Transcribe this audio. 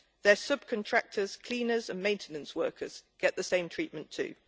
Its subcontractors, cleaners and maintenance workers get the same treatment too.